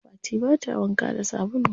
Fati bata wanka da sabulu.